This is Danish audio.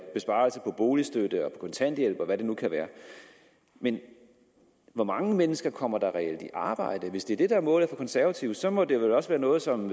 besparelser på boligstøtte kontanthjælp og hvad det nu kan være men hvor mange mennesker kommer der reelt i arbejde hvis det er det der er målet for konservative så må det vel også være noget som